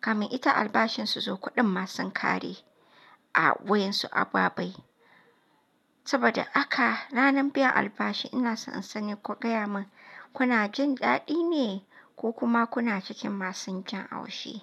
kamin ita albashin su zo kuɗin ma sun ƙare a wayan su ababai. Saboda haka ranar biyan albashi ina so in sani ku gaya mun kuna jin daɗi ne ko kuma kuna cikin masun jin haushi?